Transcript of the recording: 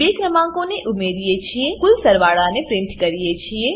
આમાં આપણે બે ક્રમાંકોને ઉમેરીએ છીએ અને કુલ સરવાળાને પ્રીંટ કરીએ છીએ